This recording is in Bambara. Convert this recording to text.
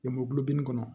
Lemurubɛnni kɔnɔ